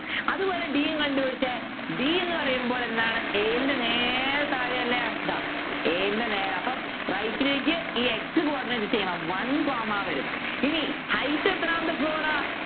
അതുപോലെ d യും കണ്ടുപിടിചെ d എന്ന് പറയുമ്പോൾ എന്താണ് a ൻ്റെ നേരെ താഴെയല്ലേ ഇതാ a ൻ്റെ നേരെ അപ്പൊ right ലേക്ക് ഈ x coordinate same one comma വരും ഇനി height എത്രാമത്തെ floor ആ